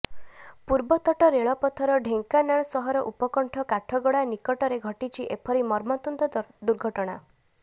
ପୂର୍ବ ତଟ ରେଳପଥର ଢେଙ୍କାନାଳ ସହର ଉପକଣ୍ଠ କାଠଗଡା ନିକଟରେ ଘଟିଛି ଏପରି ମର୍ମନ୍ତୁଦ ଦୁର୍ଘଟଣା